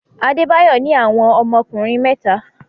Adebayo ní àwọn ọmọkùnrin mẹ́ta.